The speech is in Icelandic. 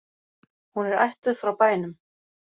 Hún er ættuð frá bænum